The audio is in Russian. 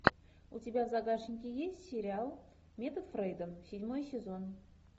у тебя в загашнике есть сериал метод фрейда седьмой сезон